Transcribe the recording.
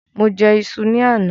Mo jẹ ìṣù ni àná.